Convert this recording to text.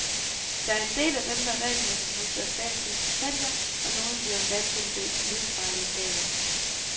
Der er en del af dem, der regelmæssigt modtager statslige stipendier, og nogle bliver endda tildelt livsvarige legater.